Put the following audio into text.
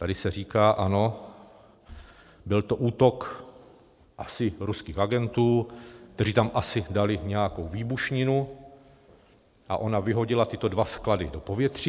Tady se říká: Ano, byl to útok asi ruských agentů, kteří tam asi dali nějakou výbušninu a ona vyhodila tyto dva sklady do povětří.